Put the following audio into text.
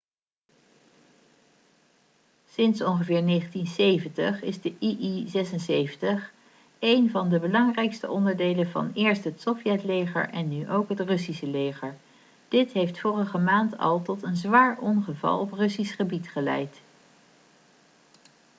sinds ongeveer 1970 is de il-76 één van de belangrijkste onderdelen van eerst het sovjetleger en nu ook het russische leger dit heeft vorige maand al tot een zwaar ongeval op russisch gebied geleid